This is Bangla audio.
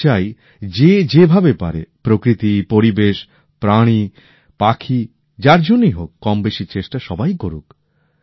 আমি চাই যে যেভাবে পারে প্রকৃতি পরিবেশ প্রাণী পাখি যার জন্যই হোক কম বেশি চেষ্টা সবাই করুক